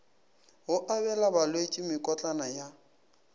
go abela balwetši mekotlana ya